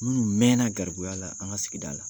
Minnu mɛɛnna garibuya la an ka sigida la